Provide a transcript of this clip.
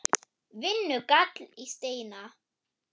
Vinnu! gall í Steina.